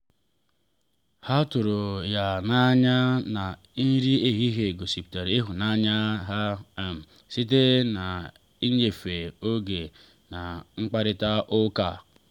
ha tụrụ ya n’anya na nri ehihie gosipụta ịhụnanya ha um site n’ịnyefe oge na mkparịta ụka.